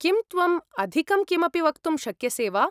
किं त्वम् अधिकं किमपि वक्तुं शक्यसे वा?